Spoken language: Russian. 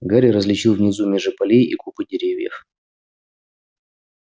гарри различил внизу межи полей и купы деревьев